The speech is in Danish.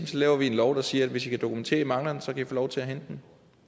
laver vi en lov der siger at hvis i kan dokumentere at i mangler den så kan i få lov til at hente den